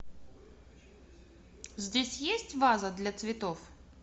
здесь есть ваза для цветов